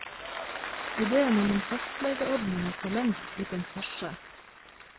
Idéen om en fastlegeordning er forlengst blitt en farse.